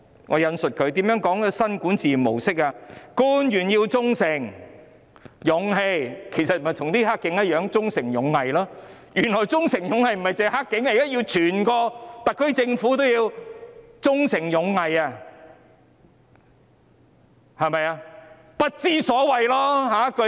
我引述如下："官員要忠誠、有勇氣"——其實和"黑警"的"忠誠勇毅"一樣，原來"忠誠勇毅"的不僅是"黑警"，現在整個特區政府都要"忠誠勇毅"，對嗎？